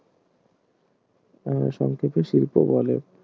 বা সংক্ষেপে শিল্প বলে